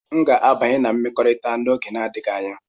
M ga-abanye na mmekọrịta n'oge adịghị anya.